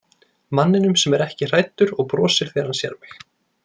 Manninum sem er ekki hræddur og brosir þegar hann sér mig.